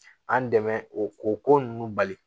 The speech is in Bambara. An dɛmɛ o ko ko nunnu bali